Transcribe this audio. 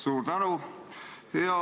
Suur tänu!